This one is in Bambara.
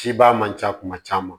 Cibaa man ca kuma caman